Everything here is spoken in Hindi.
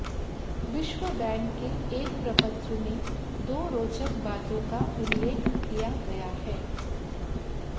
विश्व बैंक के एक प्रपत्र में दो रोचक बातों का उल्लेख किया गया है